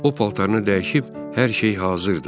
O paltarını dəyişib, hər şey hazırdır.